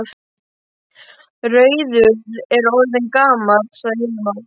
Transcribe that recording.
Rauður er orðinn gamall, sagði Hilmar.